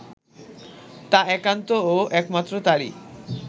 তা একান্ত ও একমাত্র তারই